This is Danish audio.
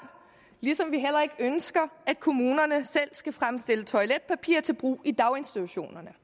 ligesom vi heller ønsker at kommunerne selv skal fremstille toiletpapir til brug i daginstitutionerne